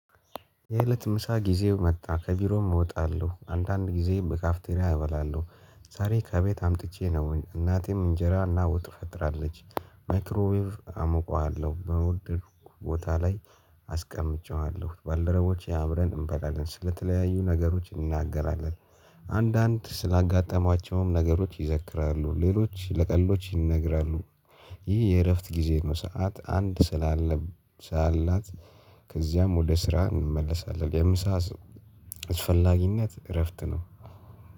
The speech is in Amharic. የእለት ምሳ ጊዜው መጣ ከቢሮም እወጣለሁ አንዳንድ ጊዜ በካፍቴሪያ እበላለሁ። ዛሬ ከቤት አምጥቼ ነው እናቴም እንጀራና ወጥ ፈጥራለች። ማይክሮዌቭ አሞቃለሁ በወደድኩ ቦታ ላይ። አስቀምጬዋለሁ ባልደረቦቼ አብረን እንበላለን ስለተለያዩ ነገሮች እናገራለን። አንዳንድ ስላጋጠሟቸውም ነገሮች ይዘክራሉ ሌሎች ለቀልዶች ይነግራሉ። ይህ የእረፍት ጊዜ ነው። ሰዓት አንድ ስላለብ ሳላት። ከዚያም ወደ ስራ እንመለሳለን። የምሳ አስፈላጊነት እረፍት ነው።